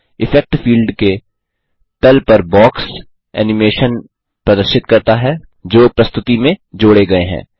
effect field के तल पर बॉक्स एनिमेशन्स प्रदर्शित करता हैजो प्रस्तुति में जोड़े गये हैं